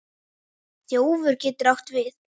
Þjófur getur átt við